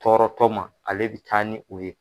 Tɔɔrɔtɔ ma ale bɛ taa ni u ye.